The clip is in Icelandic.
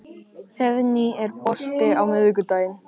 Heiðný, er bolti á miðvikudaginn?